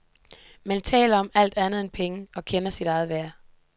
Man taler om alt andet end penge og kender sit eget værd.